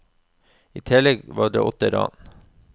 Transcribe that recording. I tillegg var det åtte ran.